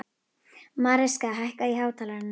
Mariska, hækkaðu í hátalaranum.